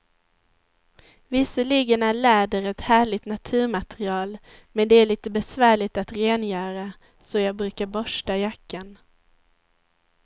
Visserligen är läder ett härligt naturmaterial, men det är lite besvärligt att rengöra, så jag brukar borsta jackan.